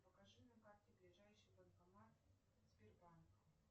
покажи на карте ближайший банкомат сбербанка